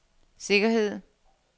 sikkerhed